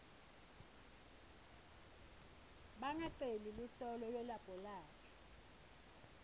bangaceli luhlolo lwelabholathri